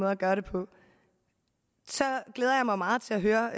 at gøre det på så glæder jeg mig meget til at høre